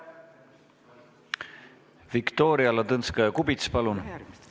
Viktoria Ladõnskaja-Kubits, palun!